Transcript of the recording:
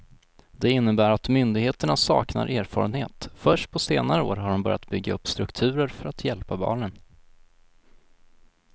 Det innebär att myndigheterna saknar erfarenhet, först på senare år har de börjat bygga upp strukturer för att hjälpa barnen.